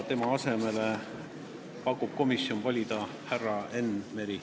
Tema asemele pakub komisjon nimetada härra Enn Mere.